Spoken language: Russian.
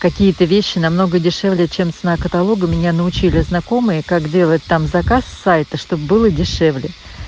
какие-то вещи намного дешевле чем цена каталога меня научили знакомые как делать там заказ с сайта чтобы было дешевле